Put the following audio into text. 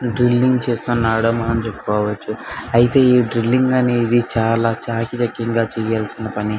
Drilling చేస్తున్నాడు అని మనం చెప్పుకోవచ్చు.డ్రిల్లింగ్ చాల చాక చక్యంగా చేయవలసిన పని.